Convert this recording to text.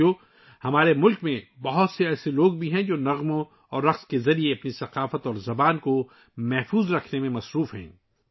ساتھیو، ہمارے ملک میں بہت سے لوگ ایسے ہیں ، جو گانوں اور ناچوں کے ذریعے اپنی ثقافت اور زبان کو بچانے میں لگے ہوئے ہیں